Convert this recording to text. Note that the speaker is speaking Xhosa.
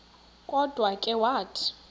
kodwa ke wathi